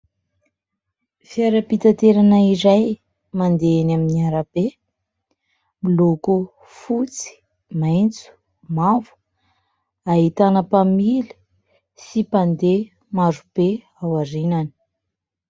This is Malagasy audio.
Fiara-pitaterana izay mandeha eny amin'ny arabe miloko fotsy, maitso, mavo. Ahitana mpamily sy mpandeha maro be ao aorianany.